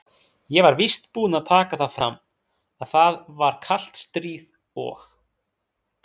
Ég var víst búinn að taka það fram, að það var kalt stríð og